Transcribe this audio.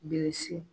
Bilisi